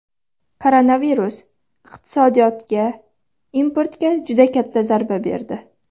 Koronavirus iqtisodiyotga, importga juda katta zarba berdi.